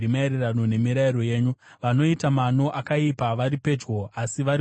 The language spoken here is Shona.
Vanoita mano akaipa vari pedyo, asi vari kure nomurayiro wenyu.